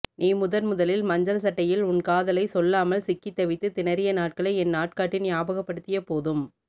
நீ முதன்முதலில் மஞ்சள்சட்டையில் உன் காதலை சொல்லாமல் சிக்கித்தவித்து திணறிய நாட்களை என் நாட்காட்டி ஞாபகப்படுத்திய போதும்